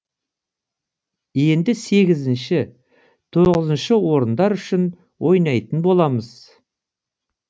енді сегізінші тоғызыншы орындар үшін ойнайтын боламыз